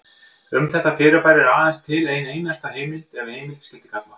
Um þetta fyrirbæri er aðeins til ein einasta heimild ef heimild skyldi kalla.